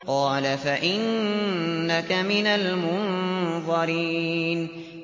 قَالَ فَإِنَّكَ مِنَ الْمُنظَرِينَ